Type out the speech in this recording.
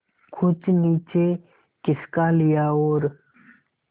कुछ नीचे खिसका लिया और